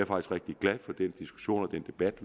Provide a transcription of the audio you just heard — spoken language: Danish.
rigtig glad for den diskussion og debat